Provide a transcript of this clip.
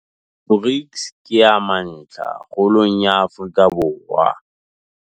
BRICS ke ya mantlha kgolong ya Afrika Borwa.